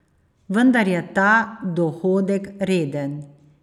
Vendar je ta dohodek reden.